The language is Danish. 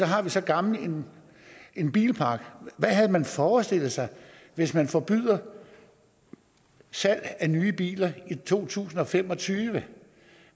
har vi så gammel en bilpark hvad har man forestillet sig hvis man forbyder salg af nye biler i to tusind og fem og tyve